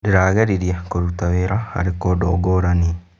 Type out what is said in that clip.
Ndĩrageririe kũruta wĩra harĩ kũndũ ngũrani.